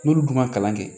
N'olu dun ma kalan kɛ